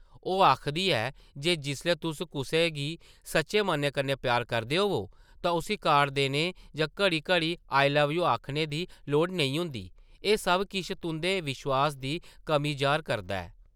ओह् आखदी ऐ जे जिसलै तुस कुसै गी सच्चे मनै कन्नै प्यार करदे होवो तां उस्सी कार्ड देने जां घड़ी-घड़ी ‘आई लव यू’ आखने दी लोड़ नेईं होंदी; एह् सब किश तुंʼदे विश्वास दी कमी जाह्र करदा ऐ ।